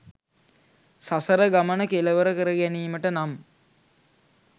සසර ගමන කෙළවර කරගැනීමට නම්